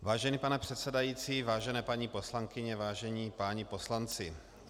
Vážený pane předsedající, vážené paní poslankyně, vážení páni poslanci.